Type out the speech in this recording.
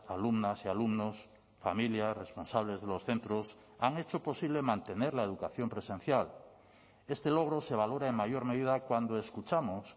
alumnas y alumnos familias responsables de los centros han hecho posible mantener la educación presencial este logro se valora en mayor medida cuando escuchamos